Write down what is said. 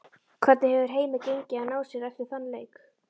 Hvernig hefur heimi gengið að ná sér eftir þann leik?